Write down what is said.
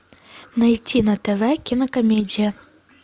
найти на тв кинокомедия